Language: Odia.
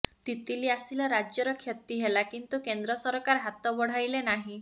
ତିତଲୀ ଆସିଲା ରାଜ୍ୟର କ୍ଷତି ହେଲା କିନ୍ତୁ କେନ୍ଦ୍ର ସରକାର ହାତ ବଢ଼ାଇଲେ ନାହିଁ